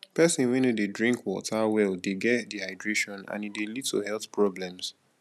pesin wey no dey drink water well dey get dehydration and e dey lead to health problems